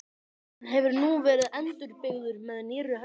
Hann hefur nú verið endurbyggður með nýrri hönnun.